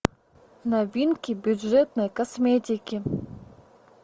новинки бюджетной косметики